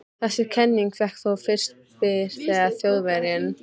Þessi kenning fékk þó fyrst byr þegar Þjóðverjinn